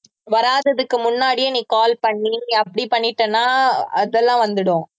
வராததுக்கு முன்னாடியே நீ call பண்ணி அப்படி பண்ணிட்டன்னா அதெல்லாம் வந்துடும்